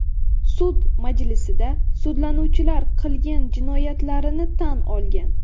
Sud majlisida sudlanuvchilar qilgan jinoyatlarini tan olgan.